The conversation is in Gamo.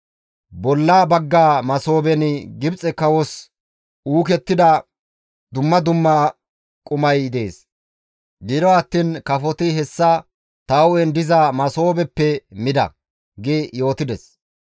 Bolla bagga masooben Gibxe kawos uukettida dumma dumma qumay dees. Gido attiin kafoti hessa ta hu7en diza masoobezappe mida› » gi yootides.